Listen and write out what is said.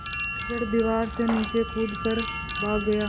मोरू झट दीवार से नीचे कूद कर भाग गया